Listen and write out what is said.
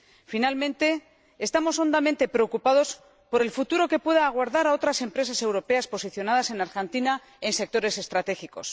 Finalmente, estamos hondamente preocupados por el futuro que pueda aguardar a otras empresas europeas posicionadas en Argentina en sectores estratégicos.